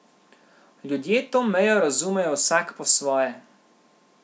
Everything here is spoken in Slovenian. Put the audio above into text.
Ljudje to mejo razumejo vsak po svoje.